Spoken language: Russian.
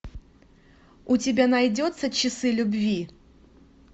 у тебя найдется часы любви